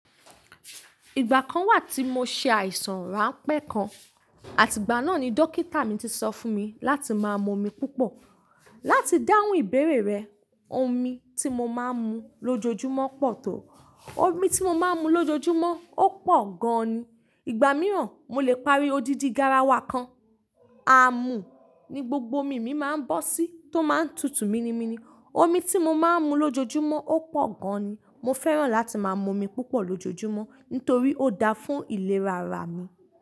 Ìgbà kan wà tí mo ṣe àìsàn ránpẹ́ kan, àti ìgbà náà ni dókítà mi ti sọ fún mi láti máa mu omi púpọ̀. Láti dáhùn ìbéèrè rẹ, omi tí mo máa ń mu lójoojúmọ́ pọ̀ tó. Omi tí mo máa ń mu lójoojúmọ́ ó pọ̀ gan ni. Ìgbà mìíràn, mo lè parí odidi garawa kan. Àámù ni gbogbo omi mi máa ń bọ́ sí tó máa ń tutù míni míni. Omi tí mo máa ń mu lójoojúmọ́ ó pọ̀ gan ni. Mo fẹ́ràn láti máa mu omi púpọ̀ lójoojúmọ́ nítorí ó da fún ìlera ara mi.